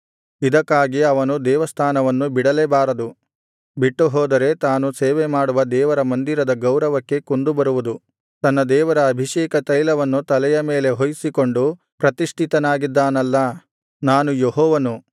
ಇದಕ್ಕಾಗಿ ಅವನು ದೇವಸ್ಥಾನವನ್ನು ಬಿಡಲೇ ಬಾರದು ಬಿಟ್ಟುಹೋದರೆ ತಾನು ಸೇವೆಮಾಡುವ ದೇವರ ಮಂದಿರದ ಗೌರವಕ್ಕೆ ಕುಂದು ಬರುವುದು ತನ್ನ ದೇವರ ಅಭಿಷೇಕತೈಲವನ್ನು ತಲೆಯ ಮೇಲೆ ಹೊಯ್ಯಿಸಿಕೊಂಡು ಪ್ರತಿಷ್ಠಿತನಾಗಿದ್ದಾನಲ್ಲಾ ನಾನು ಯೆಹೋವನು